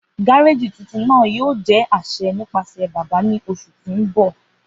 Gareji tuntun naa yoo jẹ aṣẹ nipasẹ baba ni oṣu ti n bọ.